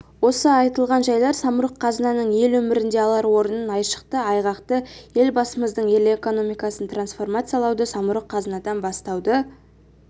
осы айтылған жайлар самұрық-қазынаның ел өмірінде алар орнын айшықты айғақтайды елбасымыздың ел экономикасын трансформациялауды самұрық-қазынадан бастауды